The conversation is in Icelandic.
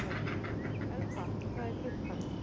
Elfa, hvað er klukkan?